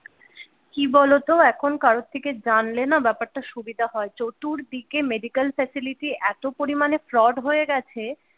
কি বলোতো এখন কারোর থেকে জানলে না ব্যাপারটা সুবিধা হয় চতুর দিকে medical facility এত পরিমাণে ফ্রড হয় গেছে।